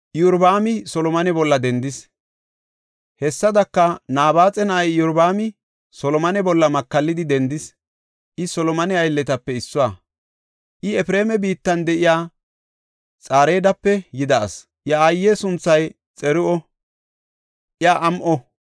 Hessadaka Nabaaxa na7ay Iyorbaami Solomone bolla makallidi dendis. I Solomone aylletape issuwa. I Efreema biittan de7iya Xareedape yida asi; iya aaye sunthay Xiru7a; iya am7o.